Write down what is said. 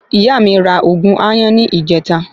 Ìyá mí ra ògùn àyàn ni ìjeta